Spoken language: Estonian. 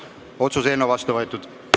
Otsuse eelnõu on otsusena vastu võetud.